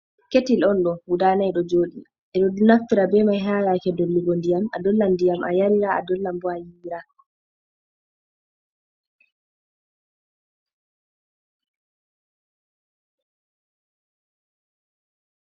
Ketil on ɗo guda nay ɗo joɗi ɓeɗo naftira be mai ha yake dollugo ndiyam a dolla ndiyam a yarina adollan bo ayiwira.